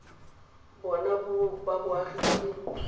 bona ba boagi ba leruri